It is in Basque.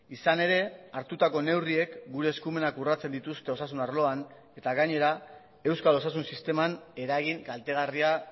izan ere hartutako neurriek gure eskumenak urratsen dituzte osasun arloan eta gainera euskal osasun sisteman eragin kaltegarria